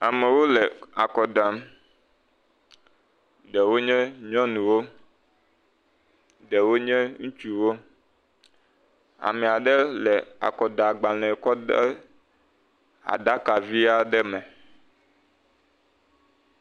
Amewo le akɔ dam, ɖewo nye nyɔnuwo, ɖewo nye ŋutsuwo, ame aɖe le akɔdagbalẽ kɔdem aɖakavi aɖe me.